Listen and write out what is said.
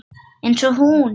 Eins og hún.